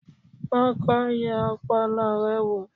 kọ́kọ́ yẹ ọpọlọ rẹ wò!